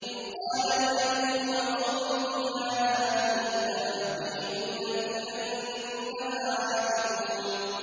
إِذْ قَالَ لِأَبِيهِ وَقَوْمِهِ مَا هَٰذِهِ التَّمَاثِيلُ الَّتِي أَنتُمْ لَهَا عَاكِفُونَ